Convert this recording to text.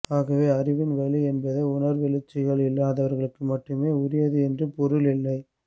ஆகவே அறிவின்வழி என்பது உணர்வெழுச்சிகள் இல்லாதவருக்கு மட்டுமே உரியது என்று பொருள் இல்லை